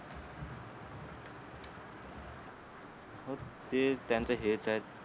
ते त्यांच हे तर